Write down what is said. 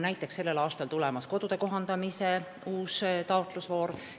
Näiteks on sellel aastal tulemas kodude kohandamise uus taotlusvoor.